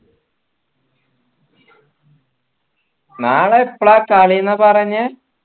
നാളെ എപ്പള കളിന്നാ പറഞ്ഞേ